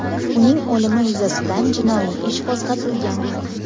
Uning o‘limi yuzasidan jinoiy ish qo‘zg‘atilgan.